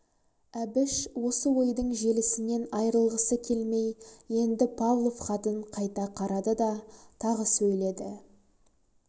әбіш осы ойдың желісінен айырылғысы келмей енді павлов хатын қайта қарады да тағы сөйледі